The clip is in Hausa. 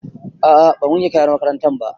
A'a ban wanke kayan makarantar ba